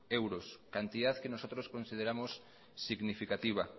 euros cantidad que nosotros consideramos significativa